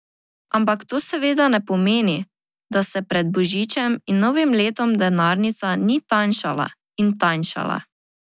Ampak to seveda ne pomeni, da se pred božičem in novim letom denarnica ni tanjšala in tanjšala.